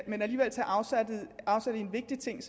men alligevel tage afsæt i en vigtig ting